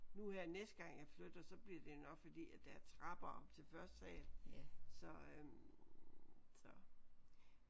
Nu her næste gang jeg flytter så bliver det nok fordi at der er trapper op til første sal så øh så